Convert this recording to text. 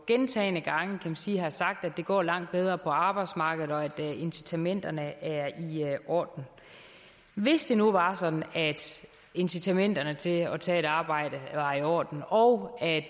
gentagne gange har sagt at det går langt bedre på arbejdsmarkedet og at incitamenterne er i orden hvis det nu var sådan at incitamenterne til at tage et arbejde var i orden og at